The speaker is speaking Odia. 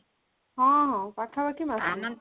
ହଁ ପାଖାପାଖି ମାସେ